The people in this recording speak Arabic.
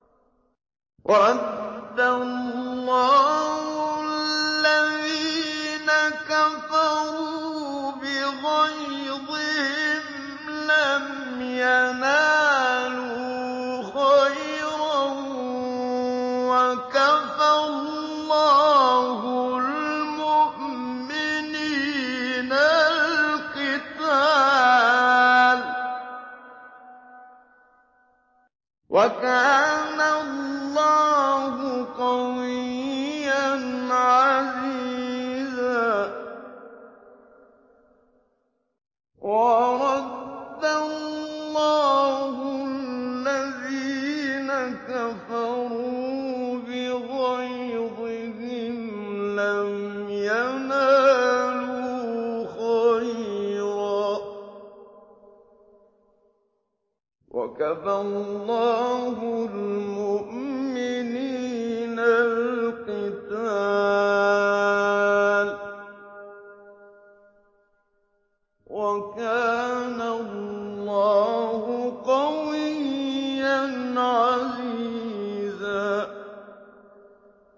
وَرَدَّ اللَّهُ الَّذِينَ كَفَرُوا بِغَيْظِهِمْ لَمْ يَنَالُوا خَيْرًا ۚ وَكَفَى اللَّهُ الْمُؤْمِنِينَ الْقِتَالَ ۚ وَكَانَ اللَّهُ قَوِيًّا عَزِيزًا